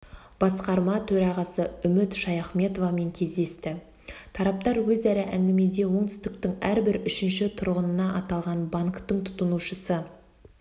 басқарма төрағасы үміт шаяхметовамен кездесті тараптар өзара әңгімеде оңтүстіктің әрбір үшінші тұрғыны аталған банктің тұтынушысы